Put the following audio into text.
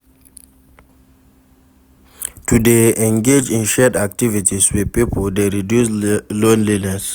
To de engage in shared activities with pipo de reduce loneliness